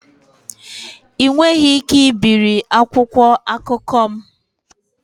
Ị nweghị ike ibiri akwụkwọ akụkọ m